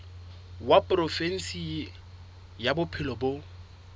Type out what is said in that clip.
wa provinse ya bophelo bo